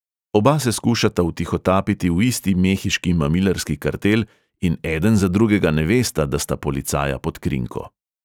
Oba se skušata vtihotapiti v isti mehiški mamilarski kartel in eden za drugega ne vesta, da sta policaja pod krinko.